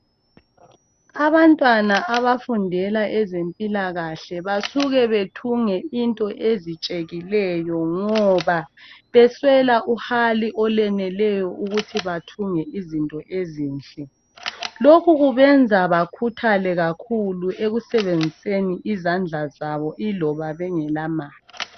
Abantwana abafundela ezempilakahle basuke bethunge into ezitshekileyo ngoba beswela uhali olweneleyo ukuthi bathunge izinto ezinhle. Lokhu kubenza bakhuthale kakhulu ekusebenziseni izandla zabo iloba bengelamali.